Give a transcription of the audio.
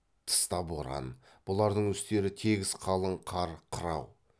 тыста боран бұлардың үстері тегіс қалың қар қырау